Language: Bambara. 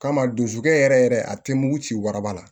Kama dusukun yɛrɛ yɛrɛ a tɛ mugu ci waraba la